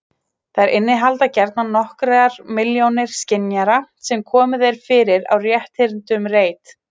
Þær innihalda gjarnan nokkrar milljónir skynjara sem komið er fyrir á rétthyrndum reit.